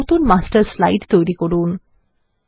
একটি নতুন master slide তৈরি করুন